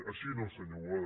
així no senyor boada